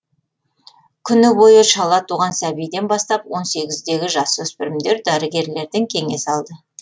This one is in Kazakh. күні бойы шала туған сәбиден бастап он сегіздегі жасөспірімдер дәрігерлерден кеңес алды